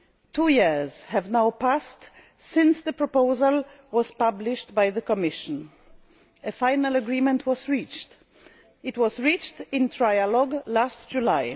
Two years have now passed since the proposal was published by the Commission. A final agreement was reached in trialogue last